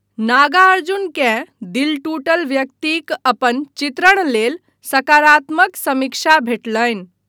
नागार्जुनकेँ दिल टूटल व्यक्तिक अपन चित्रण लेल सकारात्मक समीक्षा भेटलनि।